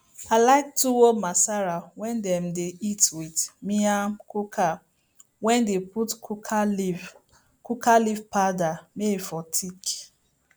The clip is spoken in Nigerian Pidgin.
i like tuwo masara wey dem dey eat with miyan kuka wey dey put kuka leaf kuka leaf powder may e for thick